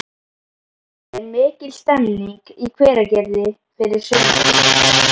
Er mikil stemming í Hveragerði fyrir sumrinu?